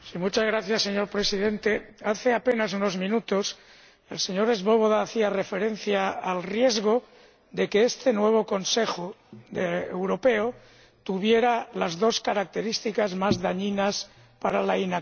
Señor Presidente, hace apenas unos minutos el señor Swoboda hacía referencia al riesgo de que este nuevo Consejo Europeo tuviera las dos características más dañinas para la inacción.